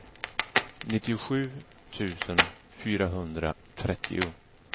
nittiosju tusen fyrahundratrettio